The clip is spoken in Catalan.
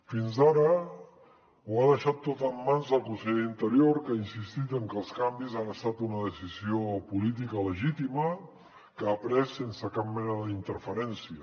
fins ara ho ha deixat tot en mans del conseller d’interior que ha insistit en que els canvis han estat una decisió política legítima que ha pres sense cap mena d’interferència